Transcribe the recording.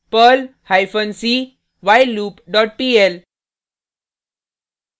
perl hyphen c whileloop dot pl